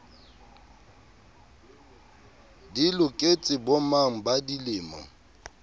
di loketse bomang ba dilemo